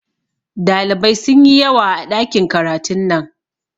Dalibai sunyi yawa a ɗakin karatun nan